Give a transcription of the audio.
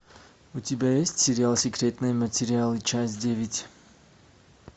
у тебя есть сериал секретные материалы часть девять